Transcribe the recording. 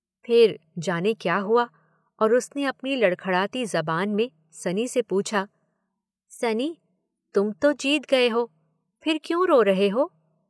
फिर जाने क्या हुआ और उसने अपनी लड़खड़ाती जुबान में सनी से पूछा- "सनी तुम तो जीत गये हो फिर क्यों रो रहे हो?